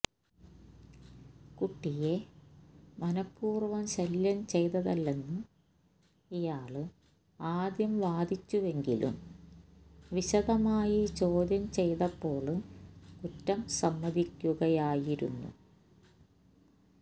കുട്ടിയെ മനഃപൂര്വം ശല്യം ചെയ്തതല്ലെന്ന് ഇയാള് ആദ്യം വാദിച്ചുവെങ്കിലും വിശദമായി ചോദ്യം ചെയ്തപ്പോള് കുറ്റം സമ്മതിക്കുകയായിരുന്നു